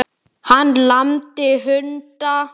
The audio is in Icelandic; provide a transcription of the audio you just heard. Hann lamdi hunda